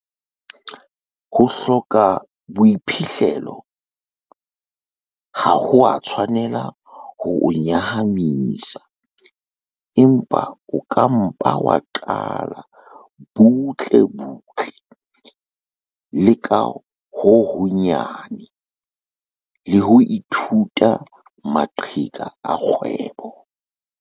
Ho hloka boiphihlelo ha ho a tshwanela ho o nyahamisa, empa o ka mpa wa qala butlebutle le ka ho honyane, le ho ithuta maqheka a kgwebo.